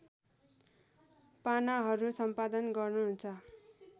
पानाहरू सम्पादन गर्नुहुन्छ